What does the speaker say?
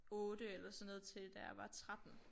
8 eller sådan noget til da jeg var 13